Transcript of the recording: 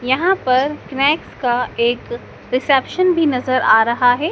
यहां पर स्नेक्स का एक रिसेप्शन भी नजर आ रहा है।